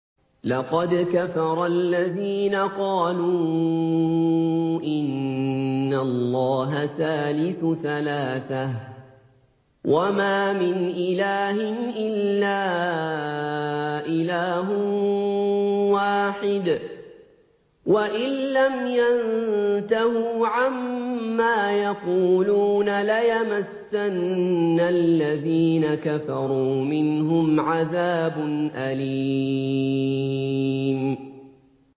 لَّقَدْ كَفَرَ الَّذِينَ قَالُوا إِنَّ اللَّهَ ثَالِثُ ثَلَاثَةٍ ۘ وَمَا مِنْ إِلَٰهٍ إِلَّا إِلَٰهٌ وَاحِدٌ ۚ وَإِن لَّمْ يَنتَهُوا عَمَّا يَقُولُونَ لَيَمَسَّنَّ الَّذِينَ كَفَرُوا مِنْهُمْ عَذَابٌ أَلِيمٌ